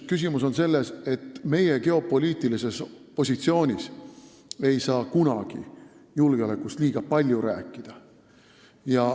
Küsimus on selles, et meie geopoliitilises positsioonis ei saa kunagi julgeolekust liiga palju rääkida.